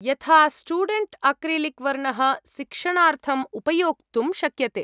यथा, student acrylic वर्णः शिक्षणार्थम् उपयोक्तुं शक्यते।